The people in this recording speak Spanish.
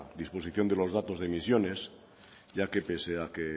disposición de los datos de emisiones ya que pese a que